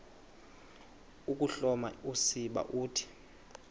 ukuhloma usiba uthi